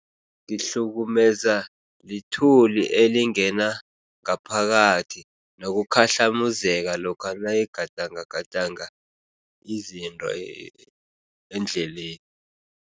Ngihlukumeza lithuli elingena ngaphakathi nokukhahlamuzeka lokha nayigadangagadanga izinto endleleni.